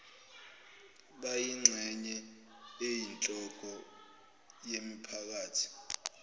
bayingxenye eyinhloko yemiphakathi